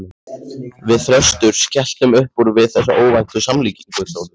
Við Þröstur skelltum uppúr við þessa óvæntu samlíkingu, Þórður